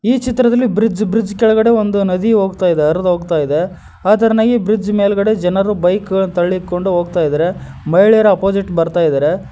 ಈ ಚಿತ್ರದಲ್ಲಿ bridge bridge bridge ಕೆಳಗಡೆ ಒಂದು ನದಿ ಹೋಗ್ತಾ ಇದೆ ಅರ್ದು ಹೋಗ್ತಾ ಇದೆ ಅದರನೆಗೆ ಬ್ರಿಡ್ಜ್ ಮೇಲ್ಗಡೆ ಬೈಕ್ ತಳ್ಳಿಕೊಂಡು ಹೋಗ್ತಾ ಇದ್ದಾರೆ ಮಹಿಳೆಯರು ಅಪೋಸಿಟ್ ಬರ್ತಾ ಇದ್ದಾರೆ.